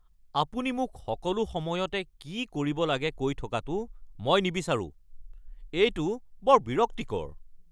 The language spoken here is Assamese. আপুনি মোক সকলো সময়তে কি কৰিব লাগে কৈ থকাটো মই নিবিচাৰোঁ। এইটো বৰ বিৰক্তিকৰ।